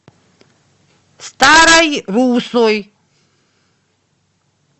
старой руссой